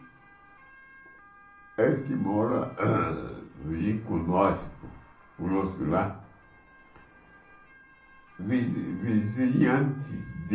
Eles que moram vinha com nós, conosco lá, vizi vizinhantes de...